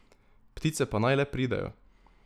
Ptice pa naj le pridejo.